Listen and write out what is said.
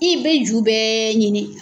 I be ju bɛɛ ɲini